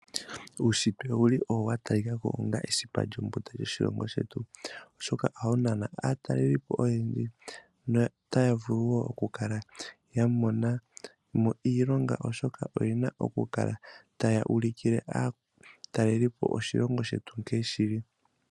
Uushitwe owuli owo wa talikako onga esipa lyombunda lyoshilongo shetu. Oshoka ohawu nana aataalelipo oyendji no taya vulu wo oku kala ya mona mo iilonga oshoka oyena oku kala taya ulikile aatalelipo oshilongo shetu nkee shili.